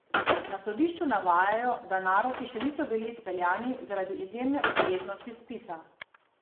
Na sodišču navajajo, da naroki še niso bili izpeljani zaradi izjemne obsežnosti spisa.